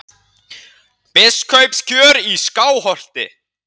BISKUPSKJÖR Í SKÁLHOLTI